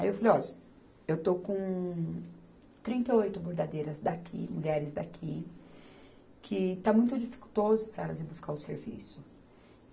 Aí eu falei, ó, eu estou com trinta e oito bordadeiras daqui, mulheres daqui, que está muito dificultoso para elas ir buscar o serviço.